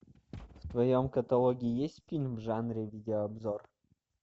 в твоем каталоге есть фильм в жанре видеообзор